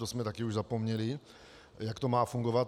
To jsme už také zapomněli, jak to má fungovat.